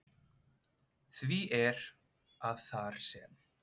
Því er, að þar sem